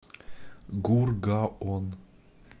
гургаон